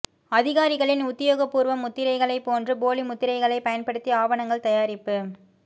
அதிகாரிகளின் உத்தியோகபூர்வ முத்திரைகளைப் போன்று போலி முத்திரைகளை பயன்படுத்தி ஆவணங்கள் தயாரிப்பு